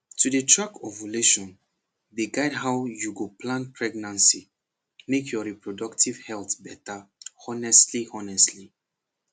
to dey track ovulation dey guide how you go plan pregnancy make your reproductive health better honestly honestly